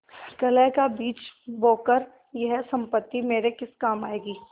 कलह का बीज बोकर यह सम्पत्ति मेरे किस काम आयेगी